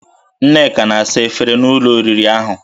Nneka na-asa efere na ụlọ oriri ahụ